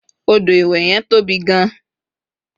odo iwe yen tobi gan